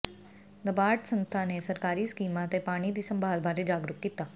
ਨਬਾਰਡ ਸੰਸਥਾ ਨੇ ਸਰਕਾਰੀ ਸਕੀਮਾਂ ਤੇ ਪਾਣੀ ਦੀ ਸੰਭਾਲ ਬਾਰੇ ਜਾਗਰੂਕ ਕੀਤਾ